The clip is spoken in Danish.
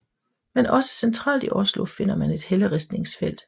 Men også centralt i Oslo finder man et helleristningsfelt